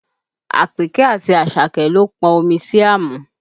Àpèkẹ́ àti Àṣàkẹ́ ló pọn omi sí àmù